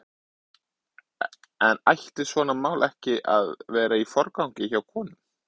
En ætti svona mál ekki að vera í forgangi hjá konum?